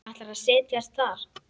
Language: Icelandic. Ætlar að set jast þar.